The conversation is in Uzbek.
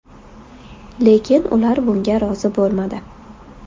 Lekin ular bunga rozi bo‘lmadi.